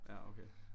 Ja okay